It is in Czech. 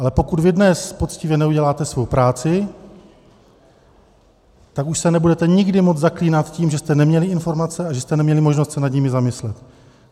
Ale pokud vy dnes poctivě neuděláte svou práci, tak už se nebudete nikdy moci zaklínat tím, že jste neměli informace a že jste neměli možnost se nad nimi zamyslet.